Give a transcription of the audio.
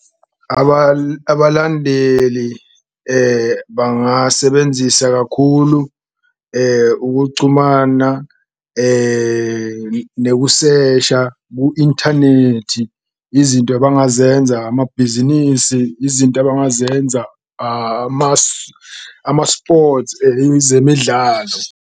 Abalandeli bangasebenzisa kakhulu ukucumana nekusesha ku-inthanethi, izinto abangazenza amabhizinisi, izinto abangazenza ama-sports ezemidlalo.